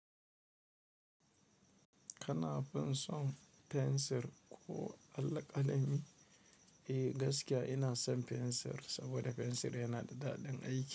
Kana fin son fensir ko alƙalami? Eh, gaskiya ina son fensir, saboda fensir yana da daɗin aiki.